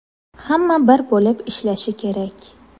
Hamma bir bo‘lib ishlashi kerak.